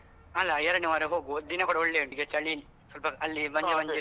ಅಲಾ ಎರಡ್ನೆ ವಾರ ಹೋಗುವ ದಿನ ಕೂಡ ಒಳ್ಳೆ ಉಂಟು ಈಗ ಚಳಿ ಅಲ್ಲಿ ಸ್ವಲ್ಪ ಅಲ್ಲಿ ಮಂಜು ಮಂಜಿರ್ತದೆ.